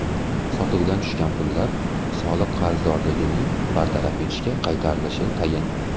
Sotuvdan tushgan pullar soliq qarzdorligini bartaraf etishga qaratilishi tayin.